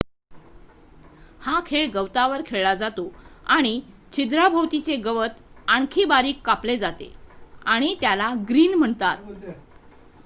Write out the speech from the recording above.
हा खेळ गवतावर खेळला जातो आणि छिद्राभोवतीचे गवत आणखी बारीक कापले जाते आणि त्याला ग्रीन म्हणतात